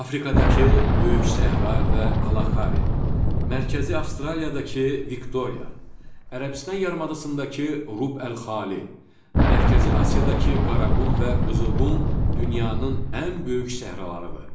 Afrikadakı Böyük Səhra və Kalahari, Mərkəzi Avstraliyadakı Viktoriya, Ərəbistan yarımadasındakı Rub ül-Xali, Mərkəzi Asiyadakı Qaraqum və Qızılqum dünyanın ən böyük səhralarıdır.